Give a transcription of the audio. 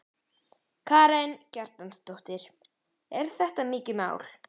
Karen Kjartansdóttir: Er þetta mikið mál?